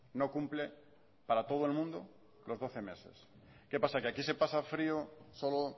no cumple para todo el mundo los doce meses qué pasa que aquí se pasa frio solo